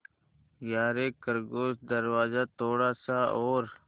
यारे खरगोश दरवाज़ा थोड़ा सा और